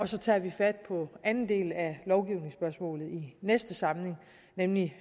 så tager vi fat på anden del af lovgivningsspørgsmålet i næste samling nemlig